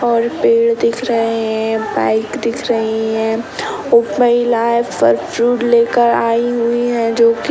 और पेड़ दिख रहे हैं बाइक दिख रही हैं उप महिला है। फल-फ्रूट लेकर आई हुई है जो कि --